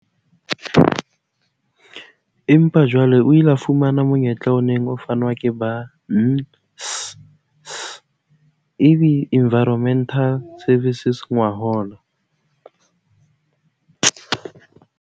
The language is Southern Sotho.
Empa jwale o ile a fumana monyetla o neng o fanwa ke ba NCC Environmental Services ngwahola.